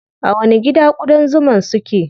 A wani gida ƙudan zuman su ke?